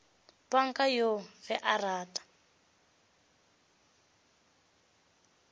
panka yoo ge a rata